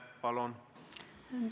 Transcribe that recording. Palun!